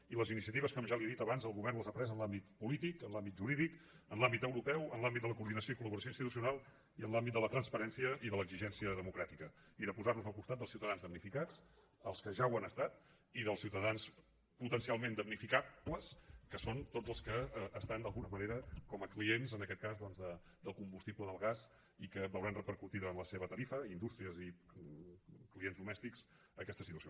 i les iniciatives com ja li he dit abans el govern les ha pres en l’àmbit polític en l’àmbit jurídic en l’àmbit europeu en l’àmbit de la coordinació i col·laboració institucional i en l’àmbit de la transparència i de l’exigència democràtica i de posarnos al costat dels ciutadans damnificats els que ja ho han estat i dels ciutadans potencialment damnificables que són tots els que estan d’alguna manera com a clients en aquest cas doncs del combustible del gas i que veuran repercutida a la seva tarifa indústries i clients domèstics aquesta situació